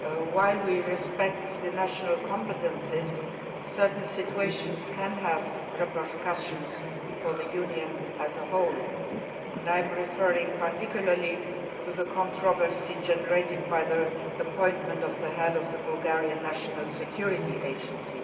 While we respect the national competences, certain situations can have repercussions for the Union as a whole and I am referring particularly to the controversy generated by the appointment of the Head of the Bulgarian National Security Agency.